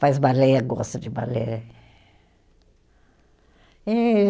Faz balé, gosta de balé.